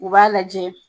U b'a lajɛ